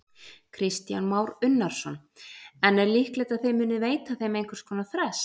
Kristján Már Unnarsson: En er líklegt að þið munið veita þeim einhvers konar frest?